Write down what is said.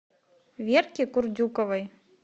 верке курдюковой